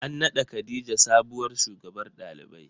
An naɗa khadijah sabuwar shugabar ɗalibai.